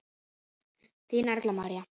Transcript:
Þín, Erla María.